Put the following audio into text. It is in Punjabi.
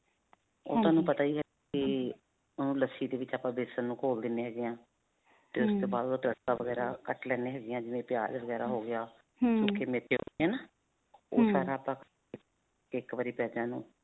ਉਹ ਤੁਹਾਨੂੰ ਪਤਾ ਹੀ ਹੈ ਵੀ ਅਅ ਲੱਸੀ ਦੇ ਵਿਚ ਆਪਾਂ ਬੇਸਨ ਨੂੰ ਘੋਲ ਦਿੰਦੇ ਹੈਗੇ ਹਾਂ. ਤੇ ਉਸ ਤੋਂ ਬਾਅਦ ਉੜਾ ਤੜਕਾ ਵਗੈਰਾ ਕੱਟ ਲੈਂਦੇ ਹੈਗੇ ਹਾਂ, ਜਿਵੇਂ ਪਿਆਜ ਵਗੈਰਾ ਹੋ ਗਿਆ. ਸੁੱਖੇ ਮੇਥੇ ਹੋ ਨਾ ਉਹ ਸਾਰਾ ਪਿਆਜਾਂ ਨੂੰ